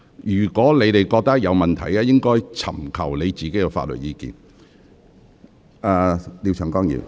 如果你們認為有任何問題，應自行尋求法律意見。